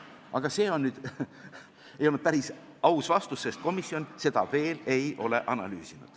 Aga see nüüd ei olnud päris aus vastus, sest komisjon seda veel ei ole analüüsinud.